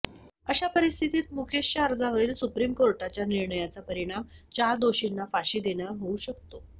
अशा परिस्थितीत मुकेशच्या अर्जावरील सुप्रीम कोर्टाच्या निर्णयाचा परिणाम चार दोषींना फाशी देण्यावर होऊ शकतो